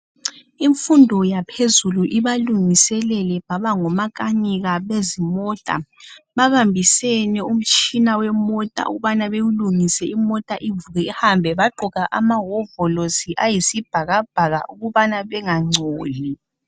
Imfundo yaphezulu ibalungiselele baba ngomakanika bezimota babambisene umtshina wemota ukubana bewulungise imota ivuke ihambe bagqoka amahovolosi ayisibhakabhaka ukubana bangangcoli.